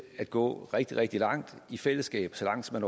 at gå rigtig rigtig langt i fællesskab så langt som